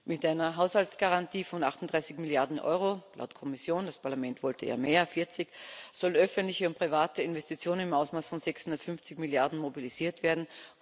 Mit einer Haushaltsgarantie von 38 Milliarden Euro laut Kommission, das Parlament wollte ja mehr 40 sollen öffentliche und private Investitionen im Umfang von 650 Milliarden mobilisiert werden.